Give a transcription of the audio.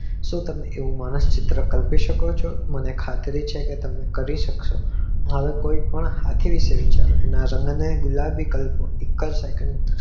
જે તમે માણસ રીતે કલ્પી શકો છો મને ખાતરી છે કે તમે કરી સક્સો માનો કે કોઈ પણ હાથી વિશે વિચારો